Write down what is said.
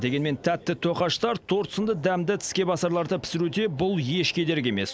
дегенмен тәтті тоқаштар торт сынды дәмді тіскебасарларды пісіруде бұл еш кедергі емес